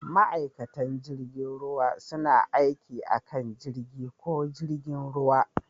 Ma'aikatan jirgin ruwa suna aiki a kan jirgi ko jirgin ruwa.